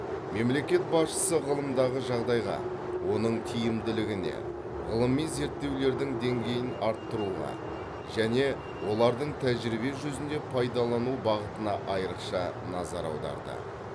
мемлекет басшысы ғылымдағы жағдайға оның тиімділігіне ғылыми зерттеулердің деңгейін арттыруға және олардың тәжірибе жүзінде пайдалану бағытына айрықша назар аударды